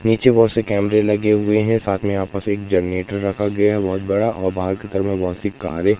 नीचे बहुत से कैमरे लगे हुए हैं साथ में यहां पास एक जनरेटर रखा गया है बहुत बड़ा और बहुत सी कारें --